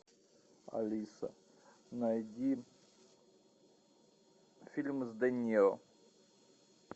алиса найди фильм с де ниро